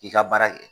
I ka baara kɛ